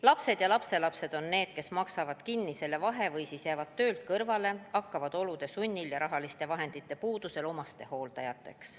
Lapsed ja lapselapsed on need, kes maksavad selle vahe kinni või siis jäävad töölt kõrvale, hakkavad olude sunnil ja rahaliste vahendite puuduse tõttu omastehooldajateks.